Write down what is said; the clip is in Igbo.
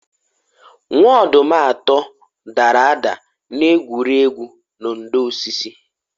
Nwa-ọdum atọ dara ada n'egwuru egwu na ndò osisi